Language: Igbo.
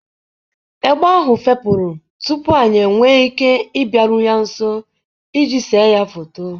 Egbe ahụ fepụrụ tupu anyị enwee ike ịbịaru ya nso iji séé ya foto.